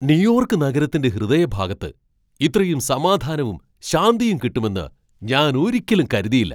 New York നഗരത്തിൻ്റെ ഹൃദയഭാഗത്ത് ഇത്രയും സമാധാനവും ശാന്തിയും കിട്ടുമെന്ന് ഞാൻ ഒരിക്കലും കരുതിയില്ല!